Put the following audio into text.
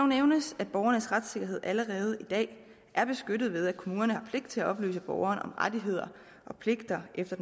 nævnes at borgernes retssikkerhed allerede i dag er beskyttet ved at kommunerne har pligt til at oplyse borgeren om rettigheder og pligter efter